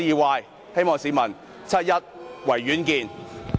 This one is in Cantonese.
各位市民，七一維園見。